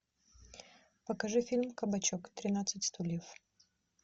покажи фильм кабачок тринадцать стульев